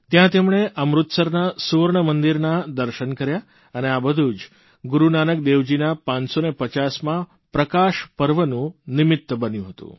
ત્યાં તેમણે અમૃતસરના સુવર્ણમંદિરનાં દર્શન કર્યા અને આ બધું જ ગુરૂનાનક દેવજીના 550મા પ્રકાશપર્વનું નિમિત્ત બન્યું હતું